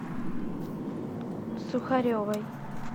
сухаревой